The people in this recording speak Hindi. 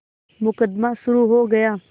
मुकदमा शुरु हो गया